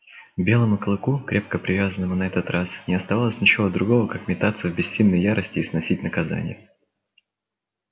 белому клыку крепко привязанному на этот раз не оставалось ничего другого как метаться в бессильной ярости и сносить наказание